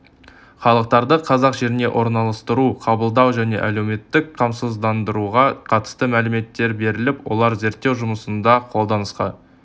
халықтарды қазақ жеріне орналастыру қабылдау және әлеуметтік қамсыздандыруға қатысты мәліметтер беріліп олар зерттеу жұмысында қолданысқа